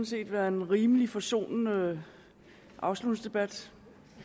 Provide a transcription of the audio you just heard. set været en rimelig forsonende afslutningsdebat